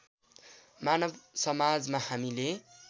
मानव समाजमा हामीले